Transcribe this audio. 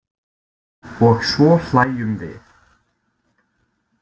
Og svo hlæjum við.